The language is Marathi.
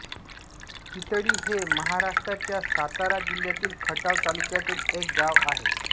चितळी हे महाराष्ट्राच्या सातारा जिल्ह्यातील खटाव तालुक्यात एक गाव आहे